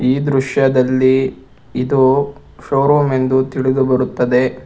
ಈ ದೃಶ್ಯದಲ್ಲಿ ಇದು ಶೋರೂಮ್ ಎಂದು ತಿಳಿದು ಬರುತ್ತದೆ.